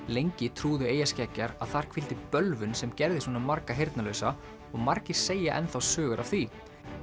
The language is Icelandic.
lengi trúðu eyjarskeggjar að þar hvíldi bölvun sem gerði svona marga heyrnarlausa og margir segja enn þá sögur af því